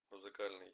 музыкальный